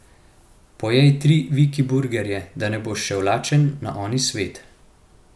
Pojej tri viki burgerje, da ne boš šel lačen na oni svet.